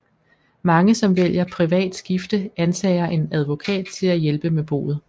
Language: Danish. Mange som vælger privat skifte antager en advokat til at hjælpe med boet